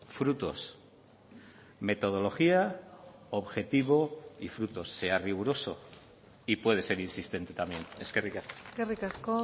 frutos metodología objetivo y frutos sea riguroso y puede ser insistente también eskerrik asko eskerrik asko